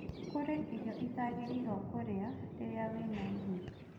Kũri irio ũtaagĩrĩirwo kũrĩa rĩrĩa wĩna ihu